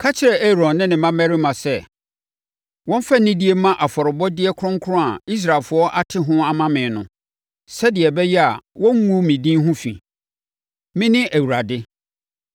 “Ka kyerɛ Aaron ne ne mmammarima sɛ, wɔmfa anidie mma afɔrebɔdeɛ kronkron a Israelfoɔ ate ho ama me no, sɛdeɛ ɛbɛyɛ a wɔnngu me din ho fi. Mene Awurade.